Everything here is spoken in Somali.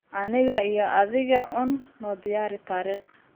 aniga iyo adiga uun noo diyaari taariikh